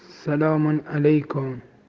салам алейкум